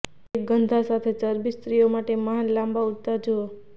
એક ગંધ સાથે ચરબી સ્ત્રીઓ માટે મહાન લાંબા ઉડતા જુઓ